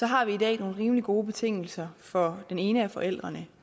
har vi i dag nogle rimelig gode betingelser for den ene af forældrene